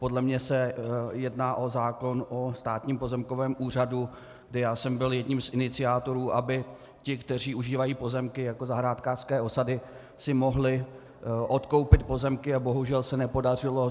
Podle mne se jedná o zákon o Státním pozemkovém úřadu, kdy já jsem byl jedním z iniciátorů, aby ti, kteří užívají pozemky jako zahrádkářské osady, si mohli odkoupit pozemky, a bohužel se nepodařilo.